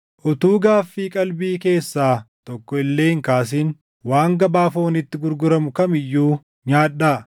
Utuu gaaffii qalbii keessaa tokko illee hin kaasin waan gabaa fooniitti gurguramu kam iyyuu nyaadhaa;